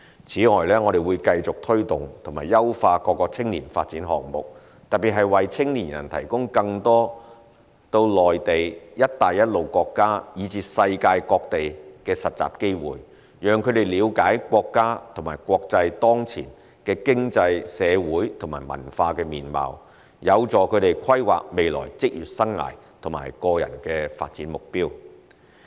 此外，我們會繼續推動及優化各個青年發展項目，特別是為青年人提供更多到內地、"一帶一路"國家以至世界各地的實習機會，讓他們了解國家和國際當前的經濟、社會和文化面貌，有助他們規劃未來職業生涯和個人發展目標。